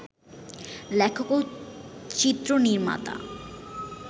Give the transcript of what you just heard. লেখক ও চিত্রনির্মাতা